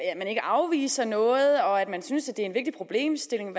at man ikke afviser noget og at man synes en vigtig problemstilling